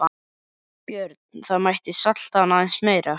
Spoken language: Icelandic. Björn: Það mætti salta hann aðeins meira?